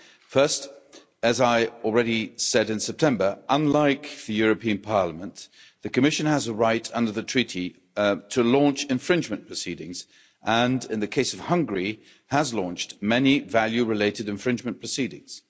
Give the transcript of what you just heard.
First, as I already said in September, unlike the European Parliament, the Commission has a right under the Treaties to launch infringement proceedings and, in the case of Hungary, has launched many value related infringement proceedings.